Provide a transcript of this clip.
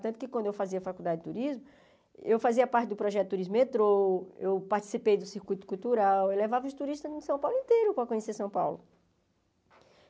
Tanto que quando eu fazia faculdade de turismo, eu fazia parte do projeto Turismo Metrô, eu participei do Circuito Cultural, eu levava os turistas de São Paulo inteiro para conhecer São Paulo.